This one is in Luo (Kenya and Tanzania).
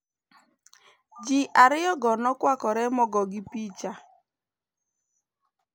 Ji ariyogo nokwakore mogogi picha.